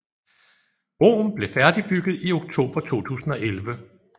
Broen blev færdigbygget i oktober 2011